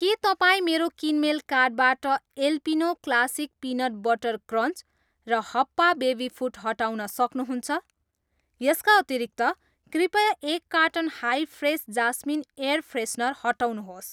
के तपाईँ मेरो किनमेल कार्टबाट Alpino classic peanut butter crunch र हप्पा बेबी फुड हटाउन सक्नुहुन्छ? यसका अतिरिक्त, कृपया एक carton Hi Fresh jasmine air freshener हटाउनुहोस्।